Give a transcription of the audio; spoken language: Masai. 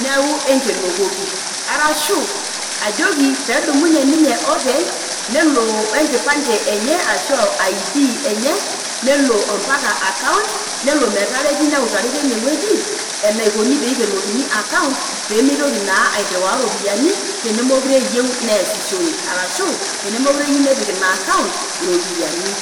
niaku enkenokoki. Arashu ajoki pee edumunye ninye openy nelo e nkipande enye ashu o ID enye neloo mpaka account nelo metareti neutakini teine wueji enaikoni pee eikenokini account pee mitoki naa airriwaa irropiyiani tenemekure eyieu neasishore, arashu tenemeekure eyieu nepik ina account irropiyiani.